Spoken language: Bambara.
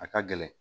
A ka gɛlɛn